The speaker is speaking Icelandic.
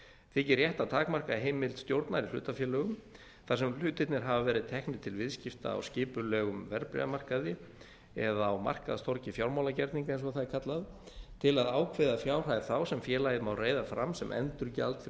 þykir rétt að takmarka heimild stjórnar í hlutafélagalögum þar sem hlutirnir hafa verið teknir til viðskipta á skipulegum verðbréfamarkaði eða á markaðstorgi fjármálagerninga eins og bað r kallað til að ákveða fjárhæð þá sem félagið má reiða fram sem endurgjald fyrir